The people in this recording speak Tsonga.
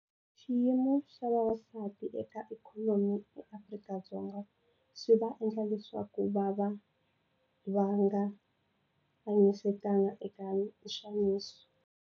Xiyimo xa vavasati eka ikhonomi eAfrika-Dzonga swi va endla leswaku vava va nga hlayisekanga eka nxaniso.